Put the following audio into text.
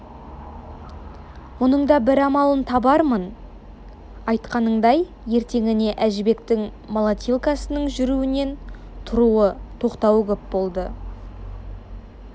мұның да бір амалын табармын айтқанындай ертеңіне әжібектің молотилкасының жүруінен тұруы тоқтауы көп болды